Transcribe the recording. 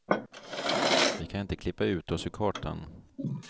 Vi kan inte klippa ut oss ur kartan.